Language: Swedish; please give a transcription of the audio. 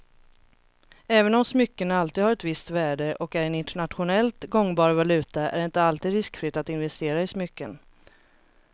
Även om smycken alltid har ett visst värde och är en internationellt gångbar valuta är det inte helt riskfritt att investera i smycken.